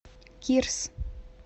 кирс